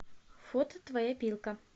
фото твоя пилка